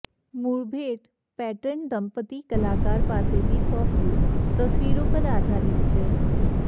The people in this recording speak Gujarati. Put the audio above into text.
મૂળ ભેટ પેટર્ન દંપતી કલાકાર પાસેથી સોંપ્યું તસવીરો પર આધારિત છે